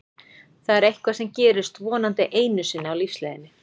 Það er eitthvað sem gerist vonandi einu sinni á lífsleiðinni.